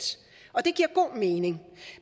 og det giver god mening